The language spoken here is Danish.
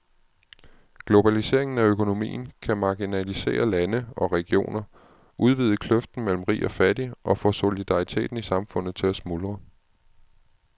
Globaliseringen af økonomien kan marginalisere lande og regioner, udvide kløften mellem rig og fattig og få solidariteten i samfundet til at smuldre.